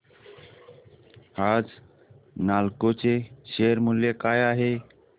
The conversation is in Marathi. आज नालको चे शेअर मूल्य काय आहे